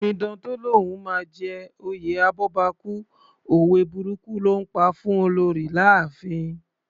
Omidan tó lóun máa jẹ oyè abọ́bakú, òwe burúkù ló ńpa fún Olorì láàfin.